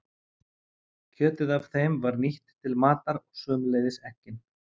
Kjötið af þeim var nýtt til matar og sömuleiðis eggin.